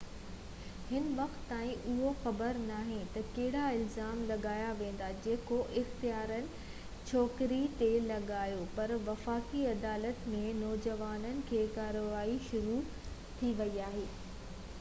هن وقت تائين اهو خبر ناهي ته ڪهڙا الزام لاڳايا ويندا جيڪو اختيارين ڇوڪري تي لڳايون پر وفاقي عدالت ۾ نوجوانن جي ڪارروائي شروع ٿي وئي آهي